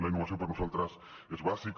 la innovació per nosaltres és bàsica